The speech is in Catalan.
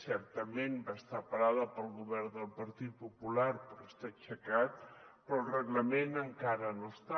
certament va estar parada pel govern del partit popular però està aixecat però el reglament encara no està